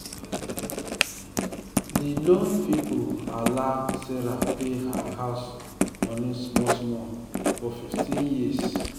di loan people allow sarah pay her house money small small for 15 years.